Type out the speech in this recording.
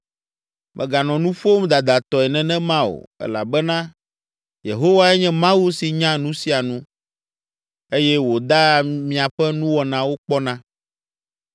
“Mèganɔ nu ƒom dadatɔe nenema o, elabena Yehowae nye Mawu si nya nu sia nu eye wòdaa miaƒe nuwɔnawo kpɔna.